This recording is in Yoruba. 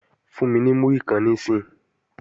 Fún mi ní múrí kan níìsín!